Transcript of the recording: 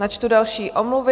Načtu další omluvy.